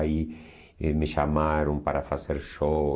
Aí eh me chamaram para fazer show.